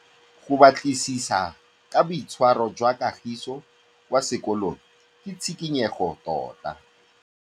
Go batlisisa ka boitshwaro jwa Kagiso kwa sekolong ke tshikinyêgô tota.